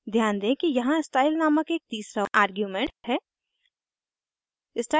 ध्यान दें कि यहाँ स्टाइल नामक एक तीसरा आर्ग्यूमेंट है